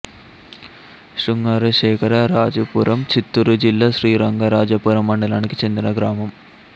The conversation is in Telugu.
శృంగార శేఖర రాజుపురం చిత్తూరు జిల్లా శ్రీరంగరాజపురం మండలానికి చెందిన గ్రామం